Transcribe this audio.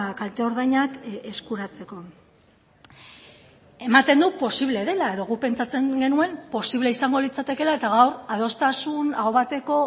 kalte ordainak eskuratzeko ematen du posible dela edo guk pentsatzen genuen posible izango litzatekela eta gaur adostasun aho bateko